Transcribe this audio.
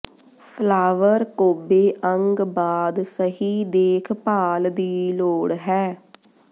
flower ਕੋਬੇ ਅੰਗ ਬਾਅਦ ਸਹੀ ਦੇਖਭਾਲ ਦੀ ਲੋੜ ਹੈ